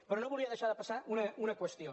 però no volia deixar de passar una qüestió